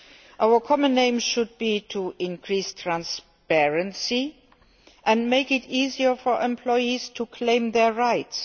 gap. Our common aim should be to increase transparency and make it easier for employees to claim their rights.